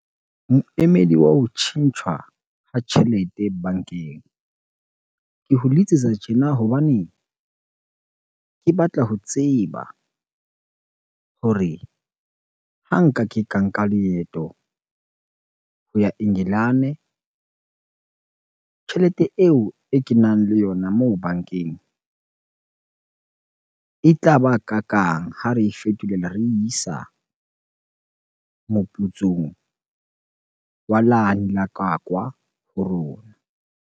Moemedi wa ho tjhentjhwa ha tjhelete bankeng. Ke ho letsetsa tjena hobane ke batla ho tseba hore ha nka ke ka nka leeto ho ya Engelane, tjhelete eo e ke nang le yona moo bankeng e tlaba kakang ha re e fetolela, re isa moputsong wa lane la kwakwa ho rona.